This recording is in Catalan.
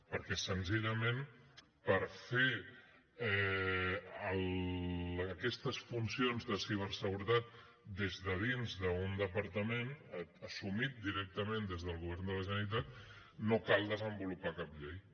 perquè senzillament per fer aquestes funcions de ciberseguretat des de dins d’un departament assumit directament des del govern de la generalitat no cal desenvolupar cap llei